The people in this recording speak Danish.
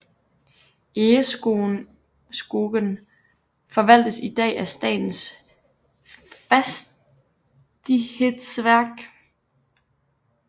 Egeskogen forvaltes i dag af Statens fastighetsverk